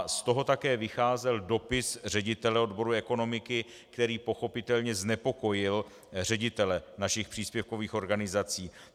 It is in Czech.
Z toho také vycházel dopis ředitele odboru ekonomiky, který pochopitelně znepokojil ředitele našich příspěvkových organizací.